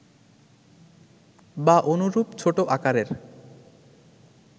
বা অনুরূপ ছোট আকারের